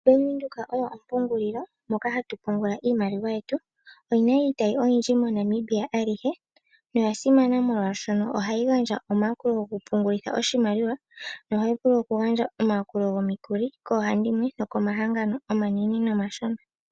Bank Windhoek oyo ompungulilo moka hatu pungula iimaliwa yetu. Omuna iitayi oyindji moNamibia alihe noya simana molwaashono ohayi gandja omayakulo gokupungulitha oshimaliwa nohayi vulu okugandja omayakulo gomikuli koohandimwe nokomahangano omanene nomashona.